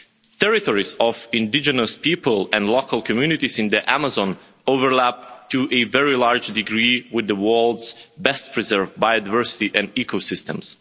Territories of indigenous people and local communities in the Amazon overlap to a very large degree with the world's best preserved biodiversity and ecosystems.